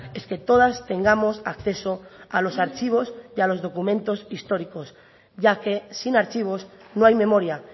es que todas tengamos acceso a los archivos y a los documentos históricos ya que sin archivos no hay memoria